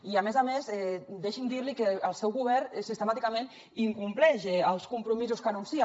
i a més a més deixi’m dir li que el seu govern sistemàticament incompleix els compromisos que anuncia